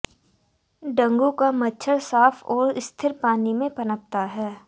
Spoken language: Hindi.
डंगू का मच्छर साफ और स्थिर पानी में पनपता है